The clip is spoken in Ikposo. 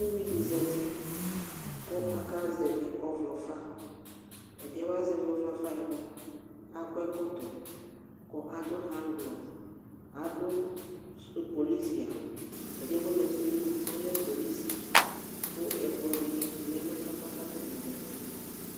Uvi di za uti ku akazɛvi ɔvlɔ fa ɛdi yɛ wazɛvi ɔvlɔ fa yɛ mua akɔ ɛkɔtɔ ku adu haŋglɔ adu pɔlisi awu ɛdi yɛ ku ɔza uti bi mua ɔlɛ polisi ku ɛkplɔ dini lɛ nu ɛfu yɛ atani za uti